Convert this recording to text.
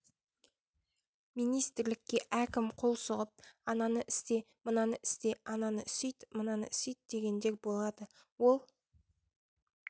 министрлікке әркім қол сұғып ананы істе мынаны істе ананы сүйт мынаны сүйт дегендер болады ол